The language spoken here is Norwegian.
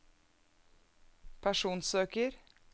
personsøker